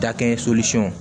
Dakɛ